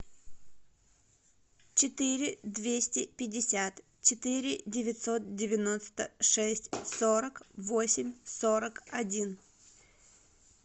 четыре двести пятьдесят четыре девятьсот девяносто шесть сорок восемь сорок один